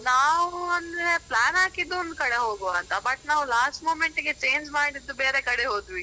ನಾವು ಅಂದ್ರೆ plan ಹಾಕಿದ್ದು ಒಂದು ಕಡೆ ಹೋಗುವ ಅಂತ. But ನಾವ್ last moment ಗೆ change ಮಾಡಿದ್ದು ಬೇರೆ ಕಡೆ ಹೋದ್ವಿ.